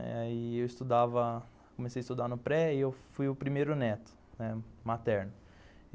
Aí eu estudava, comecei a estudar no pré e eu fui o primeiro neto, né, materno.